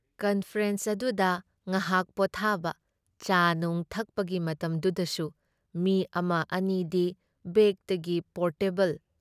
conference ꯑꯗꯨꯗ ꯉꯍꯥꯛ ꯄꯣꯠꯊꯥꯕ, ꯆꯥꯅꯨꯡ ꯊꯛꯄꯒꯤ ꯃꯇꯝꯗꯨꯗꯁꯨ ꯃꯤ ꯑꯃ ꯑꯅꯤꯗꯤ ꯕꯦꯒꯇꯒꯤ ꯄꯣꯔꯇꯦꯕꯜ